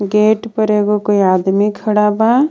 Gate पर एगो कोई आदमी खड़ा बा।